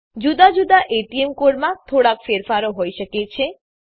જુદા જુદા એટીએમ કાર્ડોમાં થોડાક ફેરફારો હોઈ શકે છે